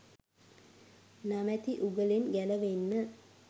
නමැති උගුලෙන් ගැළවෙන්න.